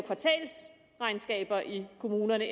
kommunerne